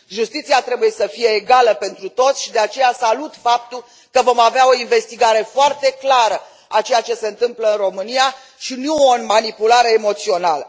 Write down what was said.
Justiția trebuie să fie egală pentru toți și, de aceea, salut faptul că vom avea o investigare foarte clară a ceea ce se întâmplă în România și nu o manipulare emoțională.